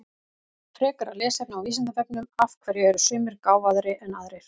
Frekara lesefni á Vísindavefnum Af hverju eru sumir gáfaðri en aðrir?